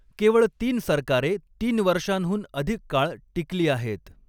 केवळ तीन सरकारे तीन वर्षांहून अधिक काळ टिकली आहेत.